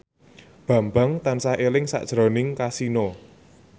Bambang tansah eling sakjroning Kasino